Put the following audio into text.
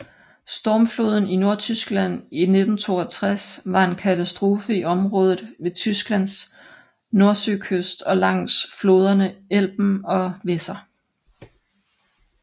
Stormfloden i Nordtyskland i 1962 var en katastrofe i området ved Tysklands nordsøkyst og langs floderne Elben og Weser